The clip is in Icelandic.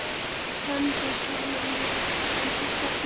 Kenndi sjálfum sér um alla tíð.